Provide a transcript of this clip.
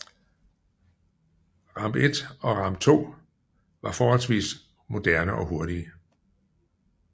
Ramb I and Ramb II var forholdsvis moderne og hurtige